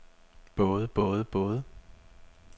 både både både